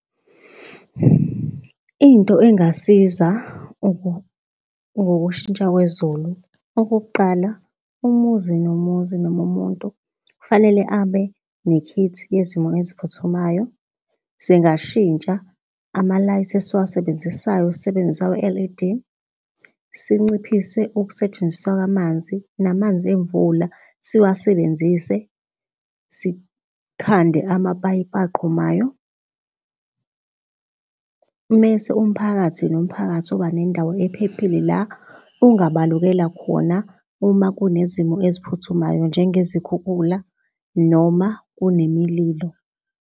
Into engasiza ngokushintsha kwezulu, okokuqala umuzi nomuzi noma umuntu kufanele abe nekhithi yezimo eziphuthumayo. Singashintsha ama-light esiwasebenzisayo sisebenzise awe-L_E_D. Sinciphise ukusetshenziswa kwamanzi namanzi emvula siwasebenzise. Sikhande amapayipi aqhumayo mese umphakathi nomphakathi uba nendawo ephephile la ungabalukela khona uma kunezimo eziphuthumayo njengezikhukhula noma kunemililo.